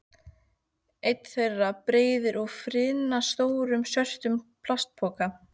Einn þeirra breiðir úr firnastórum svörtum plastpoka.